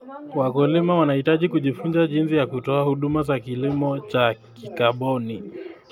Wakulima wanahitaji kujifunza jinsi ya kutoa huduma za kilimo cha kikaboni.